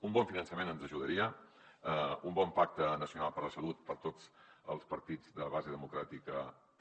un bon finançament ens ajudaria un bon pacte nacional per a la salut per a tots els partits de base democràtica també